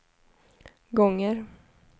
gånger